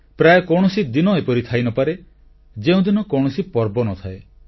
ପ୍ରାୟ କୌଣସି ଦିନ ଏପରି ଥାଇନପାରେ ଯେଉଁଦିନ କୌଣସି ପର୍ବ ନ ଥାଏ